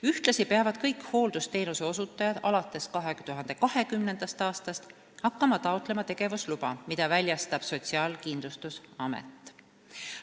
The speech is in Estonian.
Ühtlasi peavad kõik hooldusteenuse osutajad alates 2020. aastast hakkama taotlema tegevusluba, mida väljastab Sotsiaalkindlustusamet.